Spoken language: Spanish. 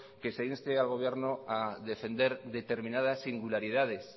que se inste al gobierno a defender determinadas singularidades